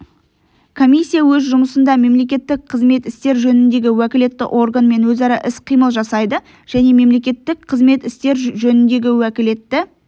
комиссия өз жұмысында мемлекеттік қызмет істер жөніндегі уәкілетті органмен өзара іс-қимыл жасайды және мемлекеттік қызмет істер жөніндегі уәкілетті